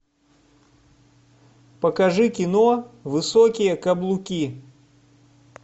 покажи кино высокие каблуки